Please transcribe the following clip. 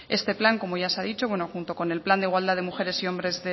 este plan como ya se ha dicho junto con el plan de igualdad de mujeres y hombres